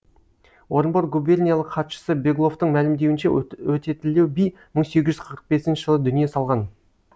орынбор губерниялық хатшысы бегловтың мәлімдеуінше өтетілеу би мың сегіз жүз қырық бесінші жылы дүние салған